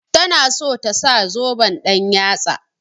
Ta na so ta sa zoben ɗan-yatsa.